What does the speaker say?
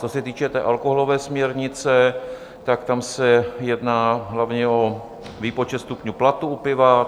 Co se týče té alkoholové směrnice, tak tam se jedná hlavně o výpočet stupňů Plato u piva.